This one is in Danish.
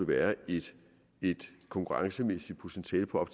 være et konkurrencemæssigt potentiale på